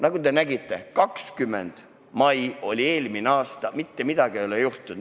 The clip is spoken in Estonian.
Nagu te nägite, eelmise aasta 20. mai oli tähtaeg, mitte midagi ei ole juhtunud.